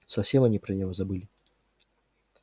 совсем они про него забыли